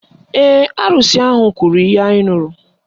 Ee, arụsị ahụ kwuru ihe anyị nụrụ